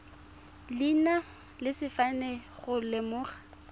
leina le sefane go lemoga